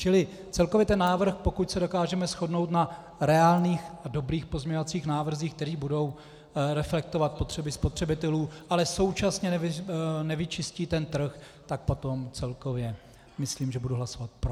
Čili celkově ten návrh, pokud se dokážeme shodnout na reálných a dobrých pozměňovacích návrzích, které budou reflektovat potřeby spotřebitelů, ale současně nevyčistí ten trh, tak potom celkově myslím, že budu hlasovat pro.